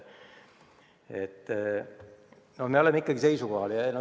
No meil ikkagi on oma seisukoht.